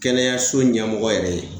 Kɛnɛyaso ɲɛmɔgɔ yɛrɛ ye